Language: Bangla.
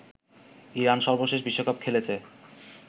ইরান সর্বশেষ বিশ্বকাপ খেলেছে